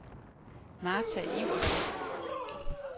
Martha Iversen